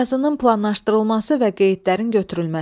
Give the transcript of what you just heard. Yazının planlaşdırılması və qeydlərin götürülməsi.